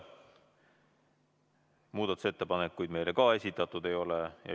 Muudatusettepanekuid meile esitatud ei ole.